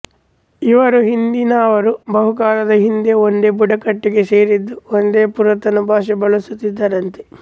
ಇವರ ಹಿಂದಿನವರು ಬಹುಕಾಲದ ಹಿಂದೆ ಒಂದೇ ಬುಡಕಟ್ಟಿಗೆ ಸೇರಿದ್ದು ಒಂದೇ ಪುರಾತನ ಭಾಷೆ ಬಳಸುತ್ತಿದ್ದರಂತೆ